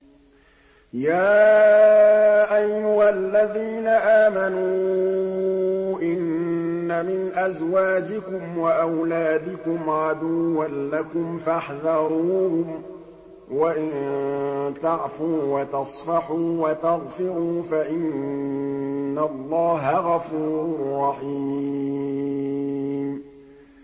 يَا أَيُّهَا الَّذِينَ آمَنُوا إِنَّ مِنْ أَزْوَاجِكُمْ وَأَوْلَادِكُمْ عَدُوًّا لَّكُمْ فَاحْذَرُوهُمْ ۚ وَإِن تَعْفُوا وَتَصْفَحُوا وَتَغْفِرُوا فَإِنَّ اللَّهَ غَفُورٌ رَّحِيمٌ